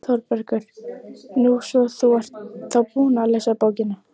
ÞÓRBERGUR: Nú, svo þú ert þá búin að lesa bókina!